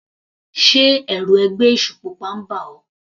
Sé ẹ̀rù ẹgbẹ́ èṣù pupa ń bà ọ́.